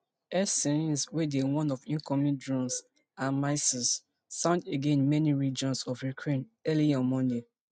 air sirens wey dey warn of incoming drones and missiles sound again in many regions of ukraine early on monday